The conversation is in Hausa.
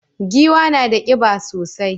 Giwa na da kiba sosai.